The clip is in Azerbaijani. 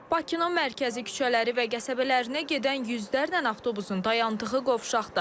Bakının mərkəzi küçələri və qəsəbələrinə gedən yüzlərlə avtobusun dayandığı qovşaqda.